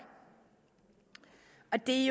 det